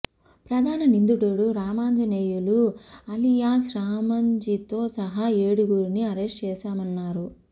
ప్రధాన నిందితుడు రామాంజనేయులు అలియాస్ రామంజితో సహా ఏడుగురిని అరెస్ట్ చేశామన్నారు